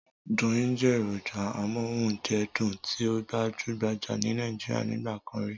Doyin jẹ́ èròjà amóúnjẹdùn tí ó gbajúgbajà ní Nàíjíríà nígbà kan rí.